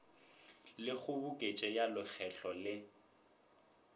le kgoboketšo ya lekgetho le